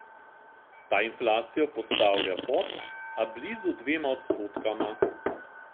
Ta inflacijo postavlja pod, a blizu dvema odstotkoma.